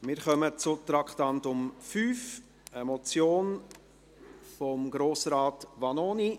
Wir kommen zum Traktandum 5, einer Motion von Grossrat Vanoni.